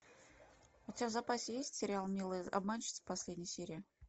у тебя в запасе есть сериал милые обманщицы последняя серия